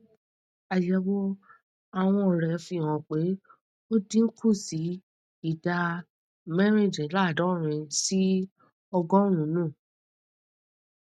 àyẹwò àwọn rẹ fi hàn pé ó dín kù sí ìdá mẹrìndínláàádọrin sí ọgọrùnún